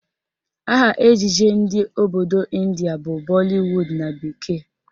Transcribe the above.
Aha ejije ndị obodo Ịndia bụ Bollywood na bekee